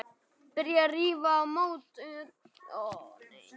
Byrjað að rífa mót utan af útveggjum á norður gafli.